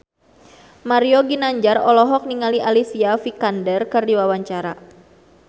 Mario Ginanjar olohok ningali Alicia Vikander keur diwawancara